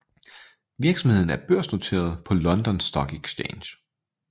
Virksomheden er børsnoteret på London Stock Exchange